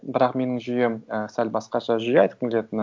бірақ менің жүйем і сәл басқаша жүйе айтқым келетіні